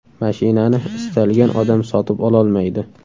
Mashinani istalgan odam sotib ololmaydi.